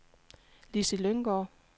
Lissi Lynggaard